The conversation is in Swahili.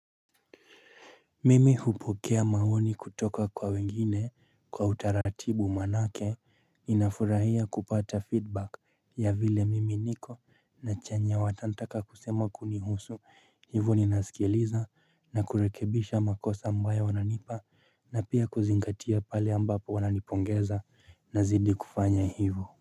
Mimi hupokea maoni kutoka kwa wengine kwa utaratibu maana yake ninafurahia kupata feedback ya vile mimi niko na chenye watanitaka kusema kunihusu. Hivyo ni nasikieliza na kurekebisha makosa ambayo wananipa na pia kuzingatia pale ambapo wananipongeza na zidi kufanya hivyo.